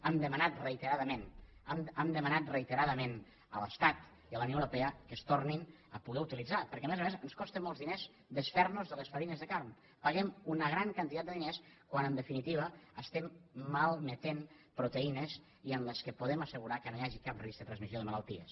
hem demanat reiteradament hem demanat reiteradament a l’estat i a la unió europea que es tornin a poder utilitzar perquè a més a més ens costa molts diners desfer nos de les farines de carn paguem una gran quantitat de diners quan en definitiva estem malmetent proteïnes en què podem assegurar que no hi hagi cap risc de transmissió de malalties